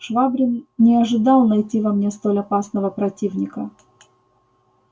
швабрин не ожидал найти во мне столь опасного противника